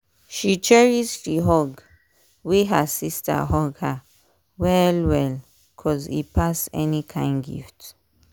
she cherish the hug wey her sister hug her well well cos e pass any kind gift